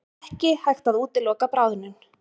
Ekki hægt að útiloka bráðnun